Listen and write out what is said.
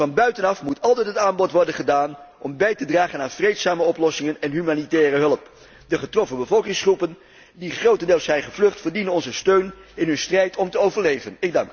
Van buitenaf moet altijd het aanbod worden gedaan om bij te dragen aan vreedzame oplossingen en humanitaire hulp. De getroffen bevolkingsgroepen, die grotendeels zijn gevlucht, verdienen onze steun in hun strijd om te overleven.